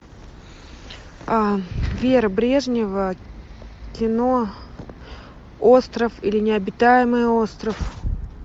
вера брежнева кино остров или необитаемый остров